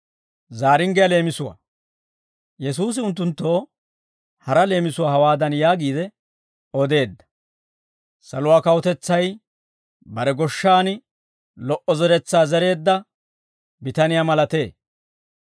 Yesuusi unttunttoo hara leemisuwaa hawaadan yaagiide odeedda; «Saluwaa kawutetsay bare goshshan lo"o zeretsaa zereedda bitaniyaa malatee.